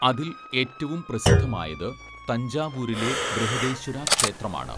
അതിൽ ഏറ്റവും പ്രസിദ്ധമായത് തഞ്ചാവൂരിലെ ബൃഹദേശ്വര ക്ഷേത്രമാണ്.